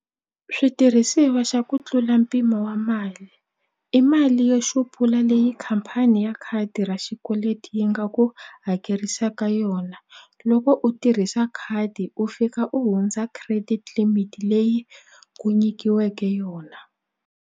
Switirhisiwa xa ku tlula mpimo wa mali i mali yo xupula leyi khampani ya khadi ra xikweleti yi nga ku hakerisaka yona loko u tirhisa khadi u fika u hundza credit limit leyi ku nyikiweke yona.